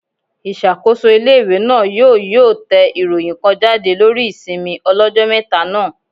Ìṣàkóso ilé-ìwé náà yóò yóò tẹ ìròyìn kan jáde lórí ìsinmi ọlọ́jọ́ mẹ́ta náà